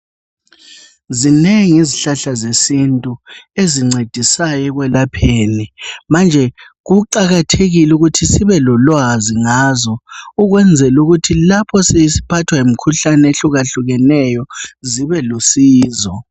Zinengi izihlahla zesintu ezincedisayo ekwelapheni manje kuqakathekile ukuthi sibe lolwazi ngazo ukwenzela ukuthi lapho sesiphathwa yimkhuhlane ehlukahlukeneyo zibe lusizo.